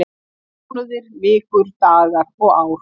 Mánuðir, vikur, dagar og ár.